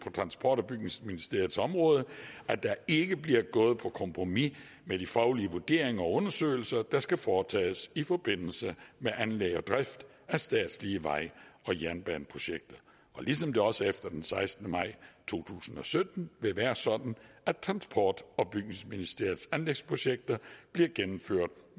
transport og bygningsministeriets område at der ikke bliver gået på kompromis med de faglige vurderinger og undersøgelser der skal foretages i forbindelse med anlæg og drift af statslige vej og jernbaneprojekter ligesom det også efter den sekstende maj to tusind og sytten vil være sådan at transport og bygningsministeriets anlægsprojekter bliver gennemført